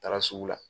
Taara sugu la